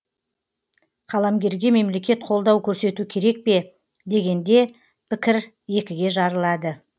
қаламгерге мемлекет қолдау көрсету керек пе дегенде пікір екіге жарылады